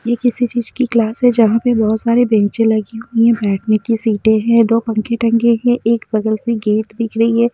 ये किसी चीज की क्लास है जहाँ पे बहुत सारे बेंच लगी हुई है बैठने की सीटें हैं दो पंखे टंगे हैं एक बगल से गेट दिख रही है।